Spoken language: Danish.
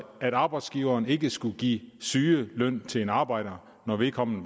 at arbejdsgiveren ikke skal give sygeløn til en arbejder når vedkommende